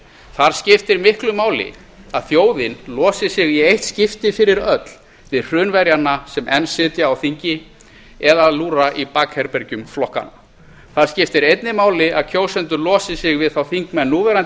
þar skiptir miklu máli að þjóðin losi sig í eitt skipti fyrir öll við hrunverjana sem enn sitja á þingi og eða lúra í bakherbergjum flokkanna það skiptir einnig máli að kjósendur losi sig við þá þingmenn núverandi